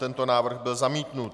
Tento návrh byl zamítnut.